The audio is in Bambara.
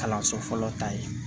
Kalanso fɔlɔ ta ye